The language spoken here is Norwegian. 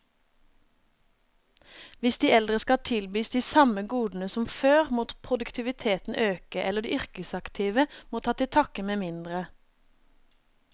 Hvis de eldre skal tilbys de samme godene som før, må produktiviteten øke, eller de yrkesaktive må ta til takke med mindre.